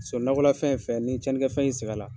Ka Sɔrɔ nakɔla fɛn ye fɛn yen, ni ye tiɲɛni kɛ fɛn ye i sɛ bɛ la